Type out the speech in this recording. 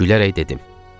Gülərək dedim.